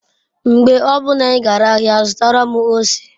Mgbe obuna I gara ahia zutara m ose